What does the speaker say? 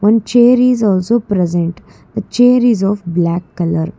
one chair is also present the chair is of black colour.